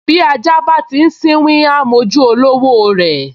Bí ajá bá ti sínwín, á m’ojú olówó rẹ̀